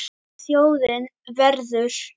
Þjóðin verður.